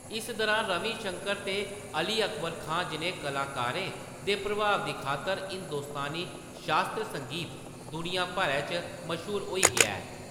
इस दुरान रवि शंकर ते अली अकबर खान जनेह्‌ कलाकारें दे प्रभाव दी खातर हिंदुस्तानी शास्त्री संगीत दुनिया भरै च मश्हूर होई गेआ ऐ।